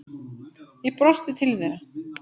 Ég brosti til þeirra.